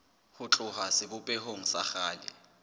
ho tloha sebopehong sa kgale